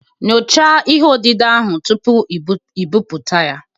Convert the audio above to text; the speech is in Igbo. Nyochaa ihe odide ahụ tupu i bipụta ya